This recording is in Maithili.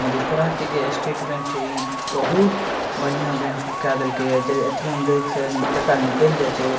मधेपुरा के जे स्टेट बैंक छे ई बहुत बढ़िया बैंक कै देलकई हे जे ए.टी.एम. से टका निकल जाई छे।